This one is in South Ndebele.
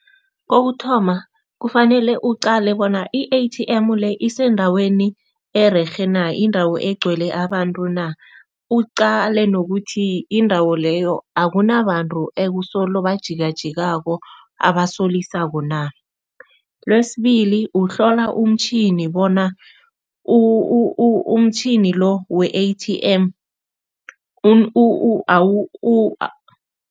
Kokuthoma, kufanele uqale bona i-A_T_M le isendaweni ererhe na, indawo egcwele abantu na. Uqale nokuthi indawo leyo akunabantu ekusolo bajikajikako abasolisako na. Lwesibili, uhlola umtjhini bona umtjhini lo we-A_T_M